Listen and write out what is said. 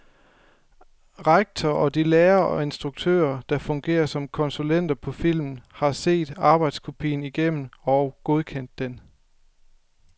Rektor og de lærere og instruktører, der fungerer som konsulenter på filmen, har set arbejdskopien igennem og godkendt den.